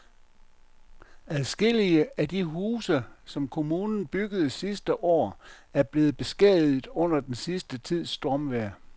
Adskillige af de huse, som kommunen byggede sidste år, er blevet beskadiget under den sidste tids stormvejr.